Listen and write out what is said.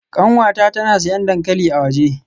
Kanwata tana siyan dankali a waje.